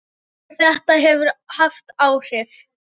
Og þetta hefur haft áhrif.